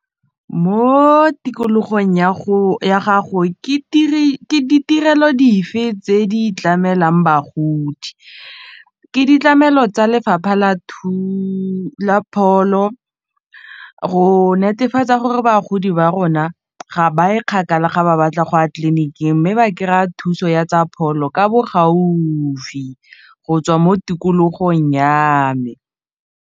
Mo tikologong ya gago ke ditirelo dife tse di tlamelwang bagodi, ke ditlamelo tsa lefapha la pholo go netefatsa gore bagodi ba rona ga ba e kgakala ga ba batla go ya tleliniking mme ba kry-a thuso ya tsa pholo ka bo gaufi go tswa mo tikologong ya me.